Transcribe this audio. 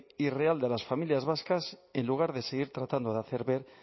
y real de las familias vascas en lugar de seguir tratando de hacer ver